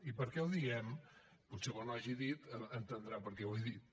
i per què ho diem potser quan ho hagi dit entendrà per què ho he dit